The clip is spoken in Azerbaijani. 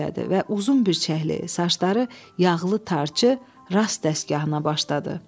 Və uzun bircəklik, saçları yağlı tarçı rast dəstgahına başladı.